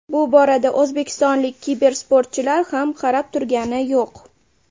Bu borada o‘zbekistonlik kibersportchilar ham qarab turgani yo‘q.